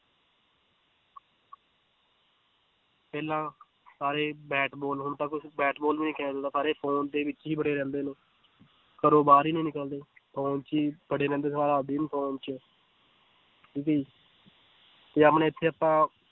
ਪਹਿਲਾਂ ਸਾਰੇ bat ball ਹੁਣ ਤਾਂ ਕੁਛ ਬੈਟ ਵੀ ਨੀ ਖੇਲਦਾ ਸਾਰੇ phone ਦੇ ਵਿੱਚ ਹੀ ਬੜੇ ਰਹਿੰਦੇ ਹਨ, ਘਰੋਂ ਬਾਹਰ ਹੀ ਨੀ ਨਿਕਲਦੇੇ phone 'ਚ ਬੜੇ ਰਹਿੰਦੇ ਸਾਰਾ ਦਿਨ phone 'ਚ ਜੇ ਆਪਣੇ ਇੱਥੇ ਆਪਾਂ